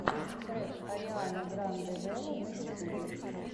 трек ариана гранде вево на ютубе